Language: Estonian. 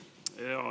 Aitäh!